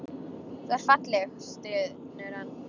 Þú ert falleg, stynur hann.